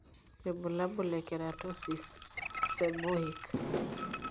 Ibulabul le Keratosis, seborrheic.